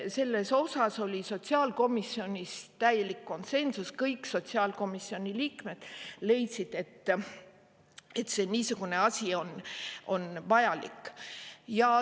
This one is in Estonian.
Selles oli sotsiaalkomisjonis täielik konsensus, kõik sotsiaalkomisjoni liikmed leidsid, et niisugune asi on vajalik.